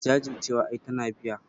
Jajircewa ai tana biya.